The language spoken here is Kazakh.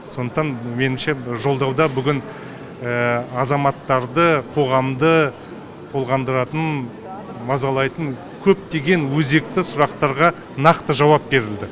сондықтан меніңше жолдауда бүгін азаматтарды қоғамды толғандыратын мазалайтын көптеген өзекті сұрақтарға нақты жауап берілді